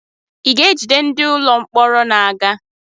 I ga-ejide ndị ụlọ mkpọrọ n'aga?